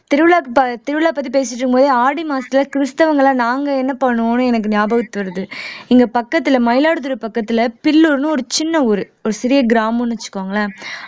திருவிழாவுக்கு ப திருவிழா பத்தி பேசிட்டு இருக்கும் போதே ஆடி மாசத்துல கிறிஸ்தவங்களா நாங்க என்ன பண்ணுவோம்ன்னு எனக்கு ஞாபகத்துக்கு வருது இங்க பக்கத்துல மயிலாடுதுறை பக்கத்துல பில்லூர்ன்னு ஒரு சின்ன ஊரு ஒரு சிறிய கிராமம்ன்னு வச்சுக்கோங்களேன்